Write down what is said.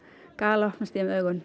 galopnast í þeim augun